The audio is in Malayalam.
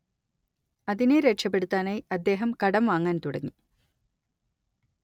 അതിനെ രക്ഷപെടുത്താനായി അദ്ദേഹം കടം വാങ്ങാൻ തുടങ്ങി